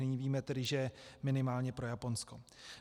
Nyní víme tedy, že minimálně pro Japonsko.